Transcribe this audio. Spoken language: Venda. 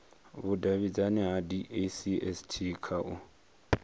vhudavhidzano ha dacst kha u